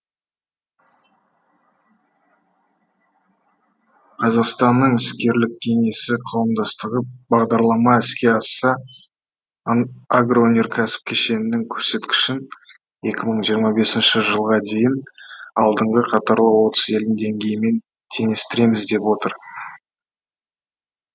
қазақстанның іскерлік кеңесі қауымдастығы бағдарлама іске асса агроөнеркәсіп кешенінің көрсеткішін екі мың жиырма бесінші жылға дейін алдыңғы қатарлы отыз елдің деңгейімен теңестіреміз деп отыр